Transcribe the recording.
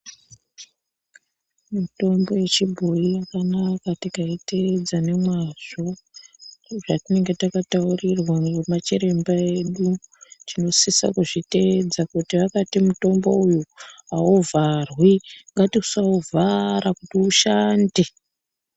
Mitombo yechibhoyi yakanaka tikaiteedza nemwazvo, sezvatinenge takataurirwa nemachiremba edu. Tinosisa kuzviteedza, kuti vakati mutombo uyu auvharwi, ngatisauvhara kuti ushande.